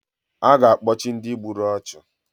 A ga-akpochi Ndị gburu ọchụ